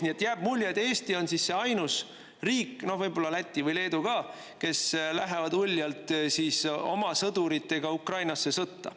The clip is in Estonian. Nii et jääb mulje, et Eesti on ainus riik, võib-olla Läti või Leedu ka, kes lähevad uljalt oma sõduritega Ukrainasse sõtta.